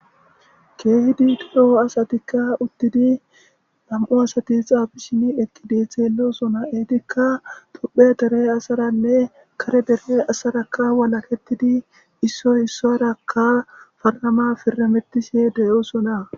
keehidi toro asatikka uttidi lam7u asati xaabishini eqi dee xeelosona eetikka tophe dere asaranne kare dere asarakka walaketidi issoy issarakka farnama firametise deyoosona